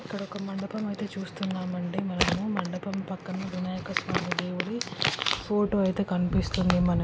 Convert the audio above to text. ఇక్కడ ఒక మండపం అయితే చూస్తునం అండి మనము మండపం పక్కన వినాయక స్వామీ దేవుని ఫోటో అయితే కనిపిస్తుంది మన --